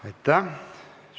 Aitäh!